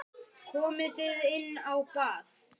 Komið þið inn á bað.